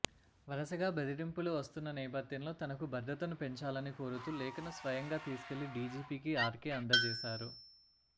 వరుసగా బెదిరింపులు వస్తున్న నేపథ్యంలో తనకు భద్రతను పెంచాలని కోరుతూ లేఖను స్వయంగా తీసుకెళ్లి డీజీపీకి ఆర్కే అందజేశారు